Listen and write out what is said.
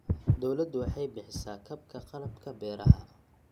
Dawladdu waxay bixisa kabka qalabka beeraha.